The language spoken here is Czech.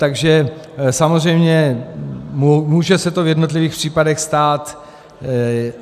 Takže samozřejmě může se to v jednotlivých případech stát.